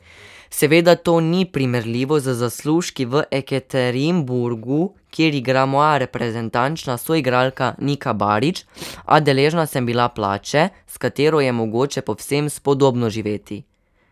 Seveda to ni primerljivo z zaslužki v Ekaterinburgu, kjer igra moja reprezentančna soigralka Nika Barič, a deležna sem bila plače, s katero je mogoče povsem spodobno živeti.